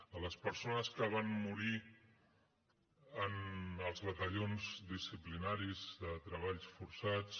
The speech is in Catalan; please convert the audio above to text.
a les persones que van morir en els batallons disciplinaris de treballs forçats